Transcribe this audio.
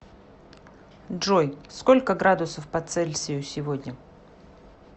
джой сколько градусов по цельсию сегодня